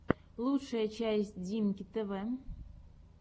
лучшая часть диммки тв